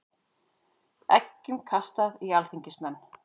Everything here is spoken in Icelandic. Eggjum kastað í alþingismenn